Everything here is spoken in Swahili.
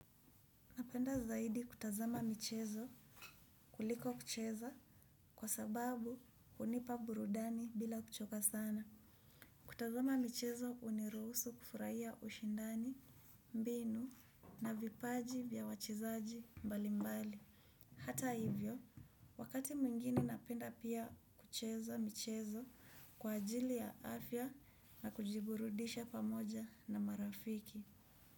Napenda zaidi kutazama michezo kuliko kucheza kwa sababu hunipa burudani bila kuchoka sana. Kutazama michezo huniruhusu kufurahia ushindani, mbinu na vipaji vya wachezaji mbali mbali. Hata hivyo, wakati mwingine napenda pia kucheza michezo kwa ajili ya afya na kujiburudisha pamoja na marafiki.